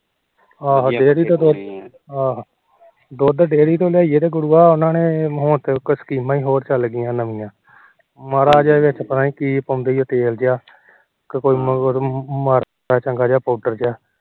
ਦੁਧ ਡੈਅਰੀ ਤੋ ਲਿਆਈਏ ਗੁਰੂਆ ਹੁਣ ਤਾ ਸਕੀਮਾ ਹੋਰ ਚੱਲ ਗੀਆਂ ਮਾਰਾ ਜਾ ਪਤਾ ਨੀ ਕੀ ਪਾਉਂਦੇ ਉਹ ਤੇਲ ਜਾ ਮਾਰਾ ਜਾ ਪਾਉਂਡਰ ਜਾ